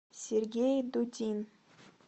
сергей дудин